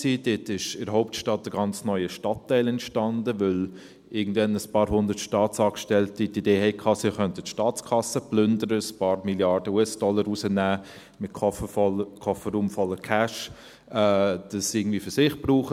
Dort entstand in der Hauptstadt ein ganz neuer Stadtteil, weil irgendwann ein paar hundert Staatsangestellte die Idee hatten, sie könnten die Staatskasse plündern, ein paar Milliarden US-Dollar rausnehmen und Kofferräume voller Cash für sich brauchen.